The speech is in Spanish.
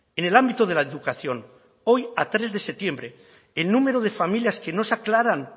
en el ámbito de la educación hoy a tres de septiembre el número de familias que no se aclaran